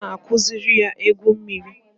A na-akụziri ya igwu mmiri